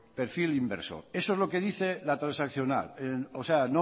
perfil inversor eso es lo que dice la transaccional o sea